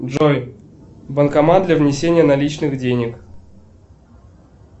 джой банкомат для внесения наличных денег